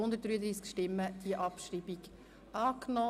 Sie haben die Abschreibung angenommen.